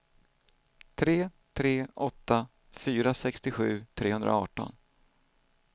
tre tre åtta fyra sextiosju trehundraarton